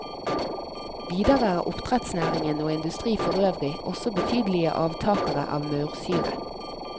Videre er oppdrettsnæringen og industri forøvrig også betydelige avtakere av maursyre.